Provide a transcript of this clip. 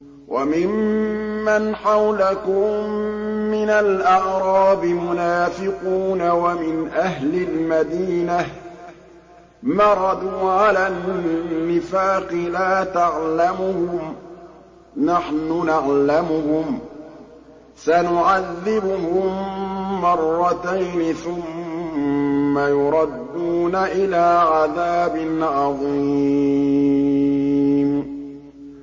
وَمِمَّنْ حَوْلَكُم مِّنَ الْأَعْرَابِ مُنَافِقُونَ ۖ وَمِنْ أَهْلِ الْمَدِينَةِ ۖ مَرَدُوا عَلَى النِّفَاقِ لَا تَعْلَمُهُمْ ۖ نَحْنُ نَعْلَمُهُمْ ۚ سَنُعَذِّبُهُم مَّرَّتَيْنِ ثُمَّ يُرَدُّونَ إِلَىٰ عَذَابٍ عَظِيمٍ